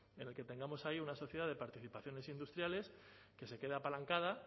en el que tengamos ahí una sociedad de participaciones industriales que se queda apalancada